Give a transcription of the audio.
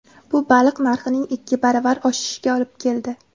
Bu baliq narxining ikki baravar oshishiga olib keldi.